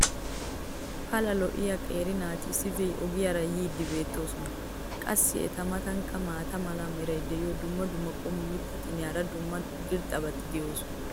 pala lo'iya qeeri naati issippe ogiyaara yiidi beetoosona. qassi eta matankka maata mala meray diyo dumma dumma qommo mitattinne hara dumma dumma irxxabati de'oosona.